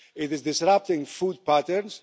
It is disrupting food patterns.